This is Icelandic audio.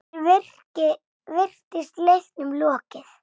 Hér virtist leiknum lokið.